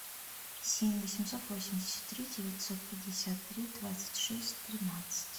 семь восемьсот восемьдесят три девятьсот пятьдесят три двадцать шесть тринадцать